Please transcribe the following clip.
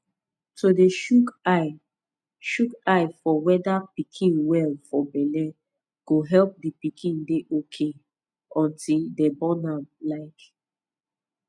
to dey shook eye shook eye for weda pikin well for belle go epp d pikin dey ok unti dem born am like